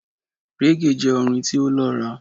reggae jẹ orin ti o lọra